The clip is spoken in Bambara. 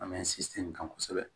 An bɛ sinsin kan kosɛbɛ